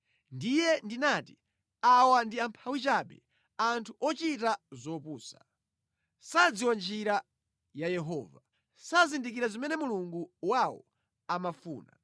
Ndiye ndinati, “Awa ndi amphawi chabe; anthu ochita zopusa. Sadziwa njira ya Yehova, sazindikira zimene Mulungu wawo amafuna.